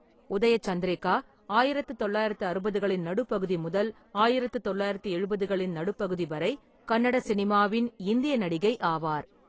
உதய சந்திரிகா ஆயிரத்து தொள்ளாயிரத்து அறுபதுகளின் நடுப்பகுதி முதல் ஆயிரத்து தொள்ளாயிரத்து எழுபதுகளின் நடுப்பகுதி வரை கன்னட சினிமாவின் இந்திய நடிகை ஆவார்.